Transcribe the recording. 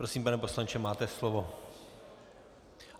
Prosím, pane poslanče, máte slovo.